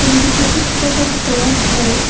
এবং কিছু উৎপাদন করা হয়।